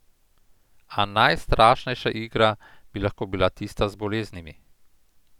A najstrašnejša igra bi lahko bila tista z boleznimi.